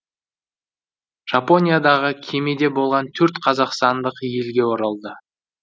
жапониядағы кемеде болған төрт қазақстандық елге оралды